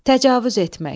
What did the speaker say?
Təcavüz etmək.